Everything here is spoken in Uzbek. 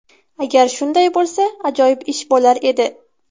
Agar shunday bo‘lsa, ajoyib ish bo‘lar edi.